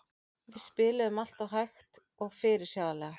Við spiluðum alltof hægt og fyrirsjáanlega.